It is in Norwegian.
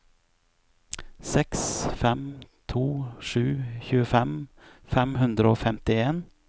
seks fem to sju tjuefem fem hundre og femtien